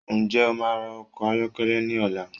Nje o máa ra ọkọ̀ ayọ́kẹ́lẹ́ ní ọ̀la?